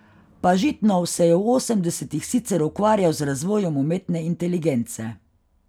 Pažitnov se je v osemdesetih sicer ukvarjal z razvojem umetne inteligence.